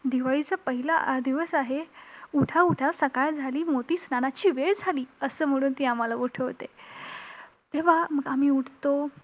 दिवाळीचा पहिला दिवस आहे, उठा उठा सकाळ झाली, मोती स्नानाची वेळ झाली, असं म्हणून ती आम्हाला उठवते. तेव्हा मग आम्ही उठतो.